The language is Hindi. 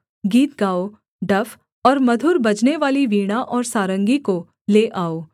गीत गाओ डफ और मधुर बजनेवाली वीणा और सारंगी को ले आओ